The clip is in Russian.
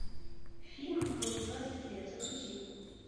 фильм мне двадцать лет загрузи